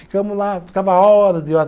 Ficamos lá, ficava horas e horas.